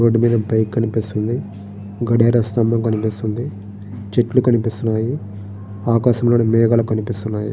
Road మీద bike కనిపిస్తుంది. కడియాలు స్తంభం కనిపిస్తుంది. చెట్లు కనిపిస్తున్నాయి. ఆకాశంలోని మేఘాలు కనిపిస్తున్నాయి.